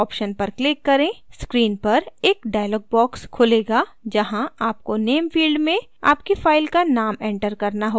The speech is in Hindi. screen पर एक dialog box खुलेगा जहाँ आपको name field में आपकी file का name enter करना होगा